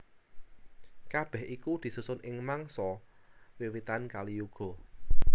Kabèh iku disusun ing mangsa wiwitan Kaliyuga